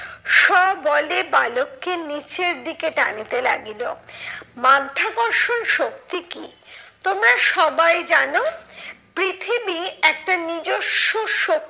স্ববলে বালককে নিচের দিকে টানিতে লাগিল। মাধ্যাকর্ষণ শক্তি কি? তোমরা সবাই জানো, পৃথিবী একটা নিজস্ব